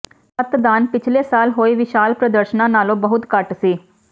ਮਤਦਾਨ ਪਿਛਲੇ ਸਾਲ ਹੋਏ ਵਿਸ਼ਾਲ ਪ੍ਰਦਰਸ਼ਨਾਂ ਨਾਲੋਂ ਬਹੁਤ ਘੱਟ ਸੀ